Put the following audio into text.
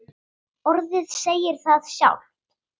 Orðið segir það sjálft.